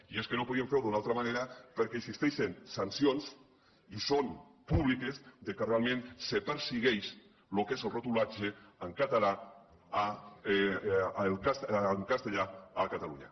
i és que no podíem fer ho d’una altra manera perquè existeixen sancions i són públiques amb què realment se persegueix el que és la retolació en castellà a catalunya